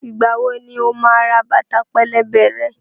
Ìgbà wo ni o máa ra bàtà pẹlẹbẹ rẹ?